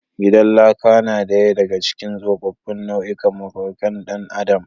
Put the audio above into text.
Gidan laka na daya daga cikin tsofaffin nau’ikan mafakar dan adam.